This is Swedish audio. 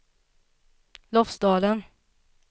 Lofsdalen